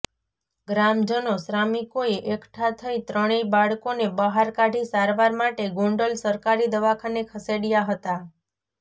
ગ્રામજનો શ્રામિકોએ એકઠા થઇ ત્રણેય બાળકોને બહાર કાઢી સારવાર માટે ગોંડલ સરકારી દવાખાને ખસેડયા હતા